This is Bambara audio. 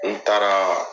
N taaraa